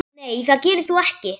Nei það gerir þú ekki.